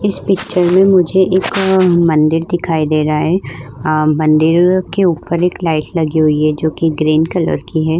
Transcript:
इस पिक्चर में मुझे एक मंदिर दिखाई दे रहा है अम्म मंदिर के ऊपर एक लाइट लगी हुई है जोकि ग्रीन कलर की है।